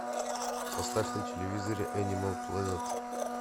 поставь на телевизоре энимал плэнет